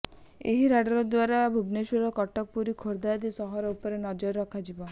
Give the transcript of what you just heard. ଏହି ରାଡାର ଦ୍ବାରା ଭୁବନେଶ୍ବରର କଟକ ପୁରୀ ଖୋର୍ଧା ଆଦି ସହର ଉପରେ ନଜର ରଖାଯିବ